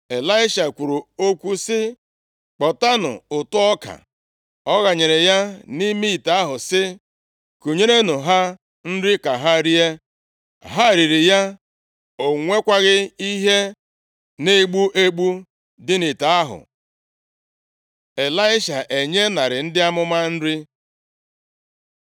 Ịlaisha kwuru okwu sị, “Kpotanụ ụtụ ọka.” Ọ ghanyere ya nʼime ite ahụ sị, “Kunyerenụ ha nri ka ha rie.” Ha riri ya. O nwekwaghị ihe na-egbu egbu dị nʼite ahụ. Ịlaisha enye narị ndị amụma nri